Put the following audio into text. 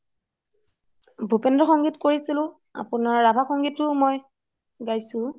ভোপিনদ্ৰ সংগীত কৰিছিলো আপোনাৰ ৰাভা সংগীতও মই গাইছো